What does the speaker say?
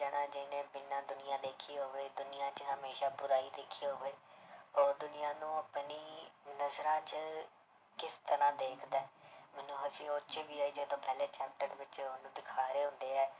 ਜਾਣਾ ਜਿਹਨੇ ਬਿਨਾਂ ਦੁਨੀਆਂ ਦੇਖੀ ਹੋਵੇ ਦੁਨੀਆਂ 'ਚ ਹਮੇਸ਼ਾ ਬੁਰਾਈ ਦੇਖੀ ਹੋਵੇ ਉਹ ਦੁਨੀਆਂ ਨੂੰ ਆਪਣੀ ਨਜ਼ਰਾਂ 'ਚ ਕਿਸ ਤਰ੍ਹਾਂ ਦੇਖਦਾ ਹੈ, ਮੈਨੂੰ ਹੱਸੀ ਉਹ 'ਚ ਵੀ ਆਈ, ਜਦੋਂ ਪਹਿਲੇ chapter ਵਿੱਚ ਉਹਨੂੰ ਦਿਖਾ ਰਹੇ ਹੁੰਦੇ ਹੈ